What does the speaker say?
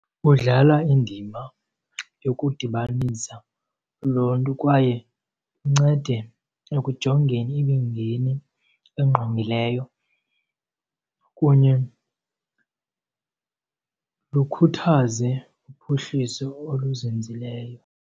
Ludlala indima yokudibanisa uluntu kwaye luncede ekujongeni imingeni engqongileyo kunye lukhuthaze uphuhliso oluzinzileyo.